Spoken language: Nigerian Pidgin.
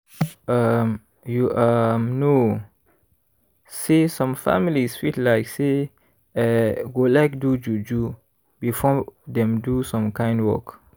um you um know say some families fit like say eeh go like do juju before dem do some kind work.